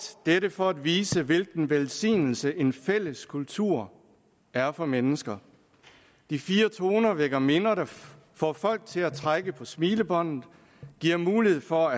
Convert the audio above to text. dette for at vise hvilken velsignelse en fælles kultur er for mennesker de fire toner vækker minder der får folk til at trække på smilebåndet giver mulighed for